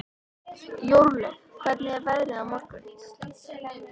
Jórlaug, hvernig er veðrið á morgun?